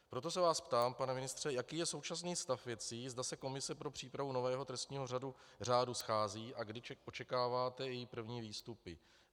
Proto se vás ptám, pane ministře, jaký je současný stav věcí, zda se komise pro přípravu nového trestního řádu schází a kdy očekáváte její první výstupy.